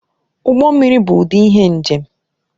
Ụgbọ mmiri bụ ụdị ihe njem